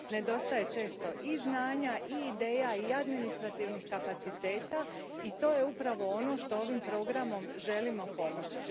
Nedostaje često i znanja i ideja i administrativnih kapaciteta i to je upravo ono što ovim programom želimo pomoći.